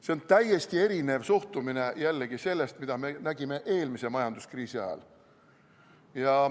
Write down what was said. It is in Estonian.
See on täiesti erinev suhtumine jällegi sellest, mida me nägime eelmise majanduskriisi ajal.